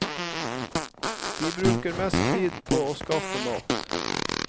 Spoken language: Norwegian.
De bruker mest tid på å skaffe mat.